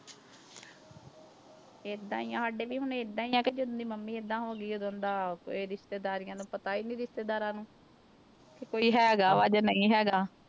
ਏਦਾਂ ਹੀ ਆਂ ਸਾਡੇ ਵੀ ਹੁਣ ਏਦਾਂ ਹੀ ਹੈ ਕਿ ਜਦੋਂ ਦੀ ਮੰਮੀ ਏਦਾਂ ਹੋ ਗਈ ਉਦੋਂ ਦਾ ਇਹ ਰਿਸ਼ਤੇਦਾਰੀਆਂ ਨੂੰ ਪਤਾ ਹੀ ਨੀ ਰਿਸ਼ਤੇਦਾਰਾਂ ਨੂੰ ਕਿ ਕੋਈ ਹੈਗਾ ਵਾ ਜਾਂ ਨਹੀਂ ਹੈਗਾ।